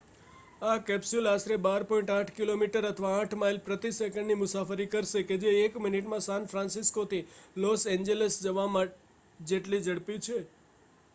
આ કેપ્સ્યુલ આશરે 12.8 કી.મી અથવા 8 માઇલ પ્રતિ સેકંડની મુસાફરી કરશે કે જે એક મિનિટમાં સાન ફ્રાન્સિસ્કોથી લોસ એન્જલસ જવા જેટલી ઝડપી છે